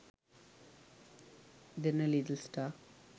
derana little star